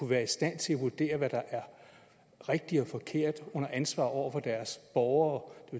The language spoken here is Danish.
være i stand til at vurdere hvad der er rigtigt og forkert under ansvar over for deres borgere